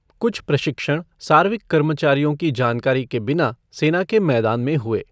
कुछ प्रशिक्षण सार्विक कर्मचारियों की जानकारी के बिना सेना के मैदान में हुए।